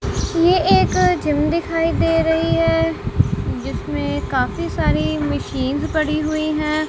ये एक जिम दिखाई दे रही है जिसमे काफी सारी मिशीन पड़ी हुई है।